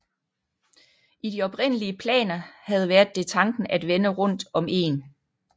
I de oprindelige planer havde været det tanken at vende rundt om egen